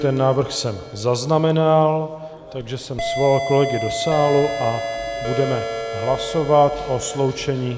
Ten návrh jsem zaznamenal, takže jsem svolal kolegy do sálu a budeme hlasovat o sloučení.